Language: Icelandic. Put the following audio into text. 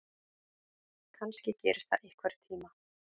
Kannski gerist það einhvern tíma.